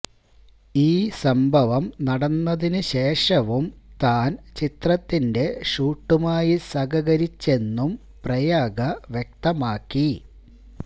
ഈ സംഭവം നടന്നതിനു ശേഷവും താൻ ചിത്രത്തിന്റെ ഷൂട്ടുമായി സഹകരിച്ചെന്നും പ്രയാഗ വ്യക്തമാക്കി